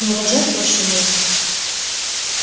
но уважать точно должны